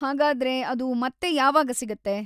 ಹಾಗಾದ್ರೆ ಅದು ಮತ್ತೆ ಯಾವಾಗ ಸಿಗತ್ತೆ?